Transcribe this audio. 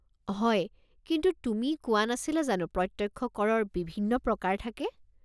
হয়, কিন্তু তুমি কোৱা নাছিলা জানো প্ৰত্যক্ষ কৰৰ বিভিন্ন প্ৰকাৰ থাকে?